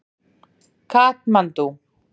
Katmandú